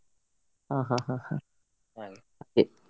ಹಾ ಹಾ ಹಾ ಹಾ ಹಾಗೆ.